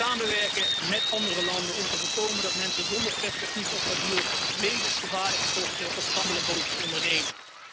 Samenwerken met andere landen om te voorkomen dat mensen zonder perspectief op asiel levensgevaarlijke tochten op gammele bootjes ondernemen.